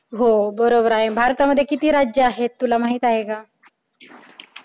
हो बरोबर आहे. भारतामध्ये किती राज्य आहेत तुला माहित आहे का?